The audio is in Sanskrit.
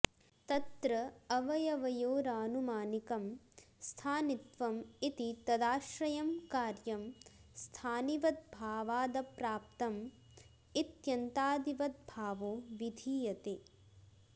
तत्र अवयवयोरानुमानिकं स्थानित्वम् इति तदाश्रयं कार्यं स्थानिवद्भावादप्राप्तम् इत्यन्तादिवद्भावो विधीयते